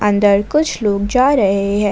अंदर कुछ लोग जा रहे हैं।